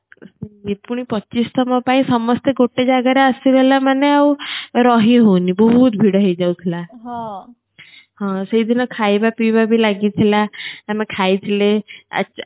ଏ ପୁଣି ପଚିଶ ତମ ପାଇଁ ସମସ୍ତେ ଗୋଟେ ଜାଗା ରେ ଆସିଗଲେ ମାନେ ଆଉ ରହି ହଉନି ବହୁତ ଭିଡ ହେଇ ଯାଉ ଥିଲା ହଁ ସେ ଦିନ ଖାଇବା ପିଇବା ଭି ଲାଗି ଥିଲା ଆମେ ଖାଇ ଥିଲେ ଆଚ୍